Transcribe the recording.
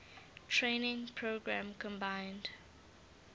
training program combined